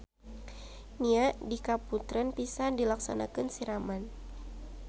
Nya di kaputren pisan dilaksanakeun siraman.